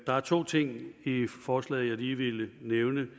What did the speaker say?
der er to ting i forslaget jeg lige vil nævne